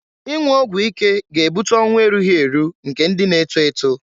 Ịnwụ ọgwụ ike ga-ebute ọnwụ erughi eru eru nke ndị na-eto eto.